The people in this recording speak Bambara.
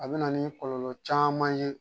A bɛna ni kɔlɔlɔ caman ye